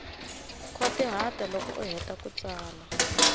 khwatihata loko u heta ku tsala